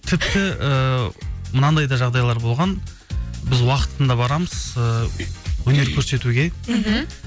тіпті ііі мынандай да жағдайлар болған біз уақытында барамыз ыыы өнер көрсетуге мхм